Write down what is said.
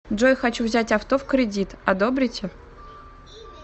джой хочу взять авто в кредит одобрите